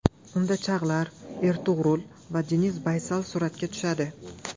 Unda Chag‘lar Ertug‘rul va Deniz Baysal suratga tushadi.